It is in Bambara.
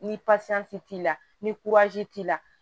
Ni pasiyansi t'i la ni t'i la